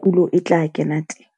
kulo e tla kena teng.